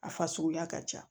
A fasuguya ka ca